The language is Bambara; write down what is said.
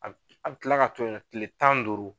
A bi , a bi kila ka to yen kile tan ni duuru.